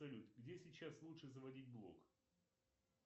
салют где сейчас лучше заводить блог